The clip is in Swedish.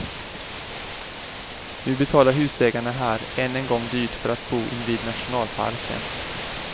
Nu betalar husägarna här än en gång dyrt för att bo invid nationalparken.